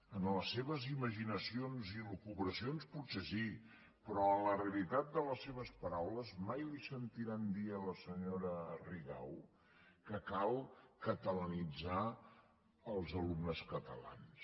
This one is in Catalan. en les seves imaginacions i elucubracions potser sí però en la realitat de les seves paraules mai li sentiran dir a la senyora rigau que cal catalanitzar els alumnes catalans